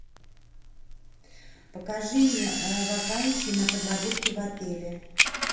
покажи мне вакансии на подработки в отеле